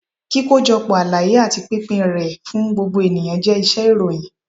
kíkojọpọ àlàyé ati pínpín ré fún gbógbo eníyan jẹ iṣẹ-ìròyìn.